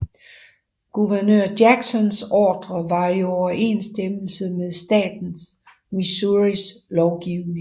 Guvernør Jacksons ordre var i overensstemmelse med statens Missouris lovgivning